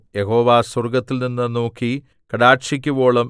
യഹോവ സ്വർഗ്ഗത്തിൽനിന്ന് നോക്കി കടാക്ഷിക്കുവോളം